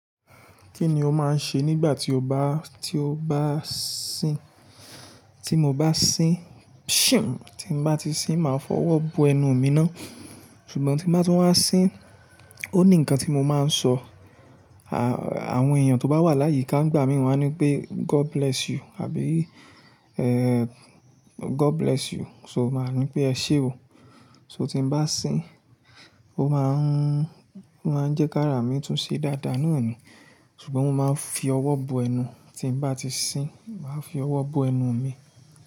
Kí ni o máa ń ṣe nígbà tí o bá, tí o bá sín? Tí mo bá sín tí n bá ti sín, màá fọwọ́ bọ ẹnu mi ná. Ṣùgbọ́n tí n bá tún wá sín, ó ní nǹkan tí mo máa ń sọ, à-àwọn èèyàn tó bá wà láyika ngbàmí wá ní pé God bless you àbí God bless you, so màá ní pé ẹ ṣé o. So tí n bá sín, ó máa ń, ó máa ń jẹ́ kárà mí tún ṣe dáadáa naa ni, ṣùgbọ́n mo máa ń fi ọwọ́ bọ ẹnu. Tí n bá ti sín, màá fi ọwọ́ bọ ẹnu mi.